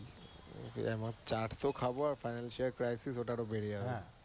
তো এমন চাট তো খাবো আর financial crisis ওটা আর ও বেড়ে যাবে।